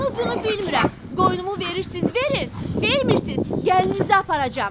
"Onu-bunu bilmirəm, qoynumu verirsiz verin, vermirsiz gəlinizi aparacam."